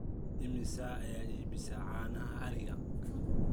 imise ayaa iibisaa caanaha ariga